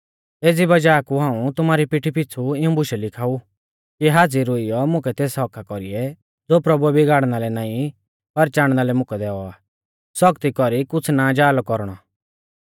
एज़ी वज़ाह कु हाऊं तुमारी पीठी पिछ़ु इऊं बुशै लिखाऊ कि हाज़िर हुइयौ मुकै तेस हक्क्का कौरीऐ ज़ो प्रभुऐ बिगाड़णा लै नाईं पर चाणना लै मुकै दैऔ आ सौखती कौरी कुछ़ ना जा लौ कौरणौ